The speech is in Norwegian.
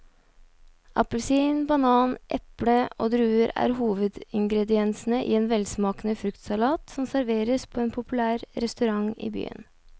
Appelsin, banan, eple og druer er hovedingredienser i en velsmakende fruktsalat som serveres på en populær restaurant i byen.